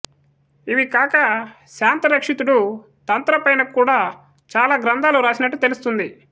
ఇవికాక శాంతరక్షితుడు తంత్ర పైన కూడా చాలా గ్రంధాలు రాసినట్లు తెలుస్తుంది